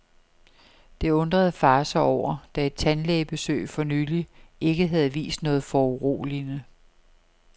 Det undrede far sig over, da et tandlægebesøg for nylig ikke havde vist noget foruroligende.